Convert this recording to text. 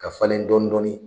Ka falen dɔɔnin dɔɔnin